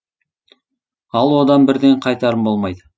ал одан бірден қайтарым болмайды